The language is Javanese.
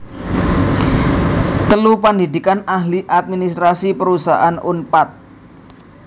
telu Pandhidhikan Ahli Administrasi Perusahaan Unpad